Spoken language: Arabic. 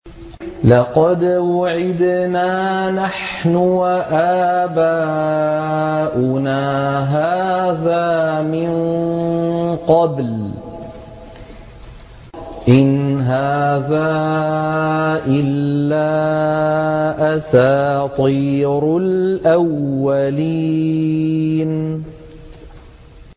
لَقَدْ وُعِدْنَا نَحْنُ وَآبَاؤُنَا هَٰذَا مِن قَبْلُ إِنْ هَٰذَا إِلَّا أَسَاطِيرُ الْأَوَّلِينَ